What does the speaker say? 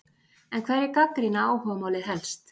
En hverjir gagnrýna áhugamálið helst?